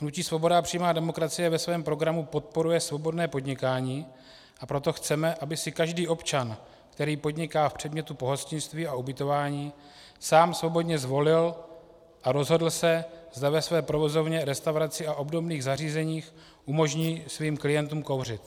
Hnutí Svoboda a přímá demokracie ve svém programu podporuje svobodné podnikání, a proto chceme, aby si každý občan, který podniká v předmětu pohostinství a ubytování, sám svobodně zvolil a rozhodl se, zda ve své provozovně, restauraci a obdobných zařízeních umožní svým klientům kouřit.